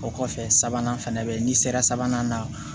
O kɔfɛ sabanan fana bɛ yen n'i sera sabanan na